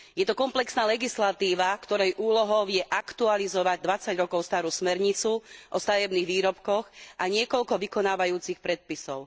Je to komplexná legislatíva, ktorej úlohou je aktualizovať 20 rokov starú smernicu o stavebných výrobkoch a niekoľko vykonávajúcich predpisov.